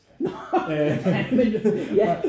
Nårh ja men ja